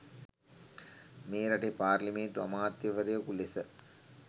මේ රටේ පාර්ලිමේන්තු අමාත්‍යවරයකු ලෙස